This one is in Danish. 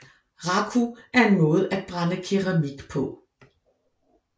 Raku er en måde at brænde keramik på